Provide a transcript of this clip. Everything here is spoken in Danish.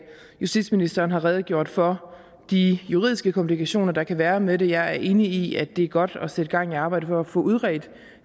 justitsministeren har redegjort for de juridiske komplikationer der kan være med det jeg er enig i at det er godt at sætte gang i arbejdet for at få udredt